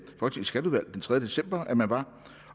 tredje december at man var